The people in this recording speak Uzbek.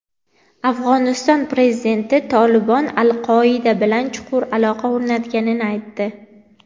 Afg‘oniston prezidenti "Tolibon" "Al-Qoida" bilan chuqur aloqa o‘rnatganini aytdi.